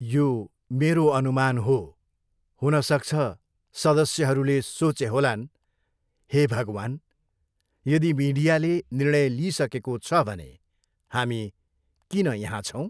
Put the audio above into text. यो मेरो अनुमान हो, हुनसक्छ सदस्यहरूले सोचे होलान्, हे भगवान्! यदि मिडियाले निर्णय लिइसकेको छ भने हामी किन यहाँ छौँ?